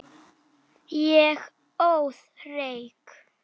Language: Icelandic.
Ég óð reyk.